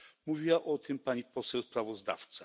Mówiła o tym pani poseł sprawozdawca.